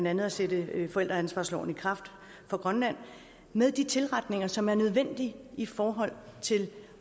andet at sætte forældreansvarsloven i kraft for grønland med de tilretninger som er nødvendige i forhold til